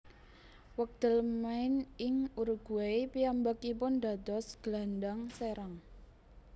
Wekdal main ing Uruguay piyambakipun dados gelandang serang